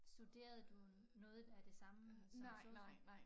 Studerede du noget der er det samme som sosu